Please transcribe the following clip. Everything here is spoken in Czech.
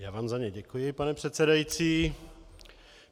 Já vám za ně děkuji, pane předsedající.